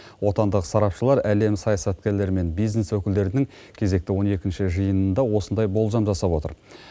отандық сарапшылар әлем саясаткерлері мен бизнес өкілдерінің кезекті он екінші жиынына осындай болжам жасап отыр